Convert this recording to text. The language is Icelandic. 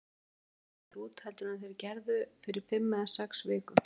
Hlutirnir líta betur út heldur en þeir gerðu fyrir fimm eða sex vikum.